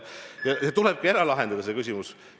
Ja tulebki ära lahendada see küsimus.